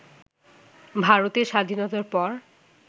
ভারতের স্বাধীনতার পর